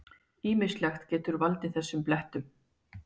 Ýmislegt getur valdið þessum blettum.